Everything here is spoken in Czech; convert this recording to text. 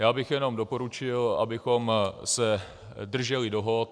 Já bych jenom doporučil, abychom se drželi dohod.